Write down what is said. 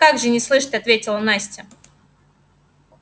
как же не слышать ответила настя